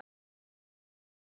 Far þú í Guðs friði.